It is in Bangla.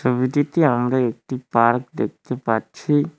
ছবিটিতে আমরা একটি পার্ক দেখতে পাচ্ছি।